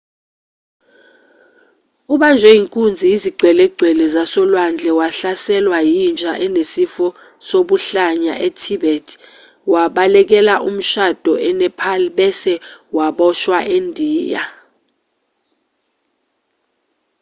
ubanjwe inkunzi yizigcwelegcwele zasolwandle wahlaselwa yinja enesifo sobuhlanya e-tibet wabalekela umshado e-nepal bese waboshwa endiya